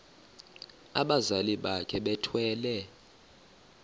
abazali bakhe bethwele